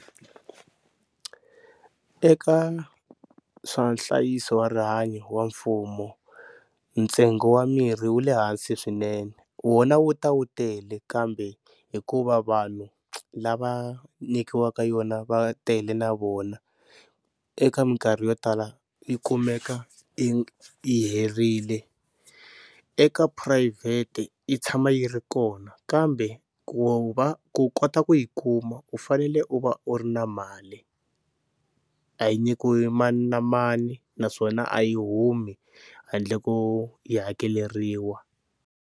Eka swa nhlayiso wa rihanyo wa mfumo ntsengo wa mirhi wu le hansi swinene wona wu ta wu tele kambe hikuva vanhu lava nyikiwaka yona va tele na vona, eka minkarhi yo tala yi kumeka yi yi herile eka phurayivhete yi tshama yi ri kona kambe ku va ku kota ku u yi kuma u fanele u va u ri na mali a yi nyikiwi mani na mani naswona a yi humi handle ko yi hakeleriwa.